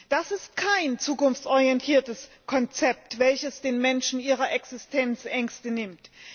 Das ist kein zukunftsorientiertes Konzept, welches den Menschen ihre Existenzängste nimmt.